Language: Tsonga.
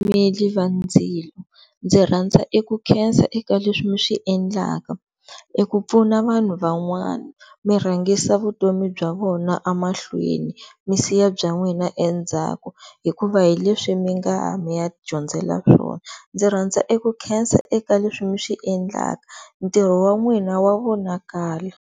Vatimeli va ndzilo ndzi rhandza eku khensa eka leswi mi swiendlaka eku pfuna vanhu van'wana mirhangisa vutomi bya vona emahlweni mi siya bya n'wina endzhaku hikuva hileswi mi nga ya mi ya dyondzela swona ndzi rhandza eku khensa eka leswi mi swi endlaka ntirho wa nwini wa vonakala.